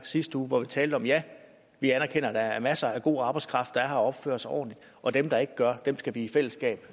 sidste uge hvor vi talte om at ja vi anerkender at der er masser af god arbejdskraft der er her opfører sig ordentligt og dem der ikke gør det skal vi i fællesskab